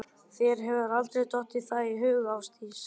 Þér hefur aldrei dottið það í hug Ásdís, ekki.